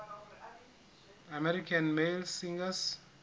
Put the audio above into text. american male singers